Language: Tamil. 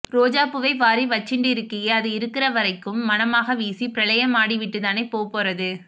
ரோஜாப்பூவை வாரி வச்சிண்டிருக்கியே அது இருக்கிறவரைக்கும் மணமாக வீசி பிரளயமாடிவிட்டு தானே போப்போறது